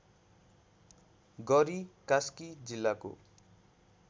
गरी कास्की जिल्लाको